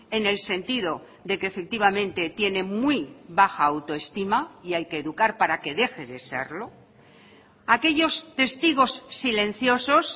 en el sentido de que efectivamente tiene muy baja autoestima y hay que educar para que deje de serlo aquellos testigos silenciosos